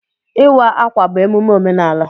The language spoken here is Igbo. Ịwa ákwà bụ emume omenaala